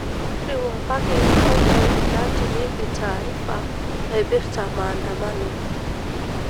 riwakaki nkoitoi natumieki taarifa naipirta maandamano